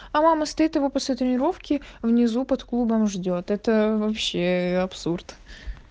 а мама стоит его после тренировки внизу под клубом ждёт это вообще абсурд